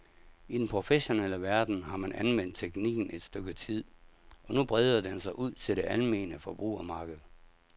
I den professionelle verden har man anvendt teknikken et stykke tid, og nu breder den sig ud til det almene forbrugermarked.